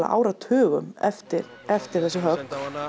áratugum eftir eftir þessi högg